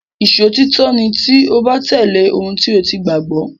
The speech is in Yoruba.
Ìṣòtítọ́ ni tí o bá tẹ̀lé ohun tí o gbàgbọ́.